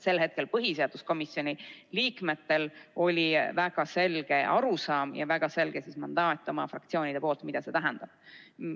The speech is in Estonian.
Sel hetkel oli põhiseaduskomisjoni liikmetel väga selge arusaam ja väga selge mandaat oma fraktsioonidelt, mida see tähendab.